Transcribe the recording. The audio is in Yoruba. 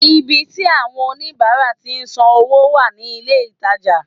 Ibi tí àwon oníbáárà tí n san wó wà ní ilé ìtajà